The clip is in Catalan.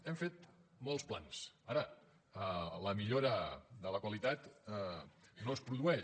hem fet molts plans ara la millora de la qualitat no es produeix